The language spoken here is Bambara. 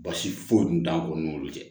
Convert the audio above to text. Basi foyi tun t'anw ni ɲɔgɔn cɛ